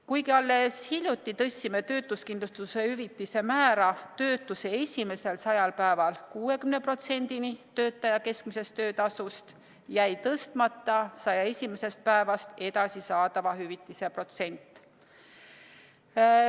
Kuigi alles hiljuti tõstsime töötuskindlustushüvitise määra töötuse esimesel 100 päeval 60%-ni töötaja keskmisest töötasust, jäi tõstmata 101. päevast edasi saadava hüvitise protsent.